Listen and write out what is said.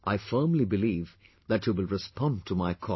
I firmly believe that you will respond to my call